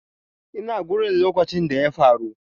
Ina gurin lokacin da ya faru.